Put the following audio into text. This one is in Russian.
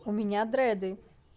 у меня дреды